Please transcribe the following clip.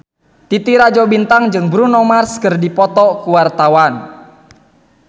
Titi Rajo Bintang jeung Bruno Mars keur dipoto ku wartawan